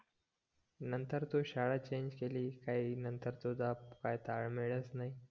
नंतर तू शाळा चेंज केलीस काय नंतर काय तुझा ताळमेळ्च नाय